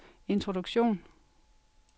introduktion